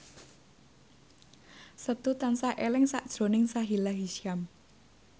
Setu tansah eling sakjroning Sahila Hisyam